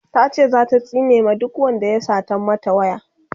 tace zata tsine ma duk Wanda ya Satan mata waya